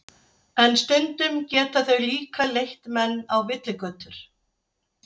En stundum geta þau líka leitt menn á villigötur.